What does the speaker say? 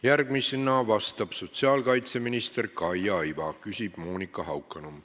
Järgmisena vastab sotsiaalkaitseminister Kaia Iva, küsib Monika Haukanõmm.